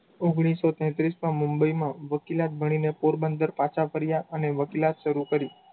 ઓગણીસો તેત્રીસમાં મુંબઈમાં વકીલાત ભણીને પોરબંદર પાછા ફર્યા અને વકીલાત શરુ કરી.